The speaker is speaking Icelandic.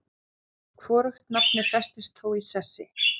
Hvorugt nafnið festist þó í sessi.